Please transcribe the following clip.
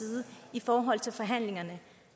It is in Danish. i forhold